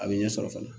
A bɛ ɲɛsɔrɔ fana